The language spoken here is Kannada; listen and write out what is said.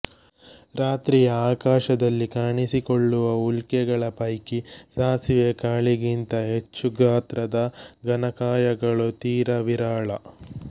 ರಾತ್ರಿಯ ಆಕಾಶದಲ್ಲಿ ಕಾಣಿಸುಕೊಳ್ಳುವ ಉಲ್ಕೆಗಳ ಪೈಕಿ ಸಾಸಿವೆ ಕಾಳಿಗಿಂತ ಹೆಚ್ಚು ಗಾತ್ರದ ಘನಕಾಯಗಳು ತೀರ ವಿರಳ